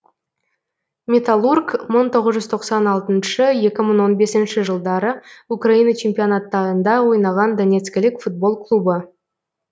металлург мың тоғыз жүз тоқсан алтыншы екі мың он бесінші жылдары украина чемпионаттарында ойнаған донецкілік футбол клубы